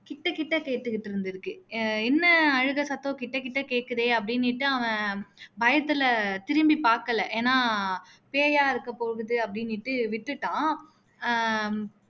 கிட்ட கிட்ட கேட்டுட்டு இருந்துருக்கு ஏ என்ன அழுகை சத்தம் கிட்டகிட்ட கேக்குதே அப்படின்னுட்டு அவன் பயத்துல திரும்பி பாக்கல பேயா இருக்க போகுதுன்னு அப்படின்னுட்டு விட்டுட்டான் ஹம்